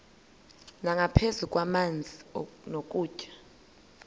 nangaphezu kwamanzi nokutya